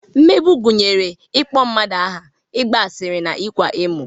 Mmegbu gụnyere ịkpọ mmadụ aha, ịgbasa asịrị na ịkwa emo